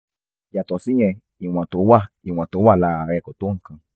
yàtọ̀ síyẹn ìwọ̀n tó wà ìwọ̀n tó wà lára rẹ kò tó nǹkan